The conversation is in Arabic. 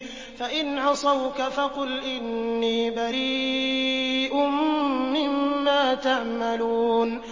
فَإِنْ عَصَوْكَ فَقُلْ إِنِّي بَرِيءٌ مِّمَّا تَعْمَلُونَ